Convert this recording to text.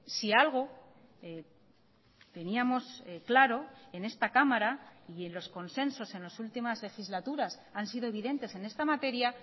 si algo teníamos claro en esta cámara y en los consensos en las últimas legislaturas han sido evidentes en esta materia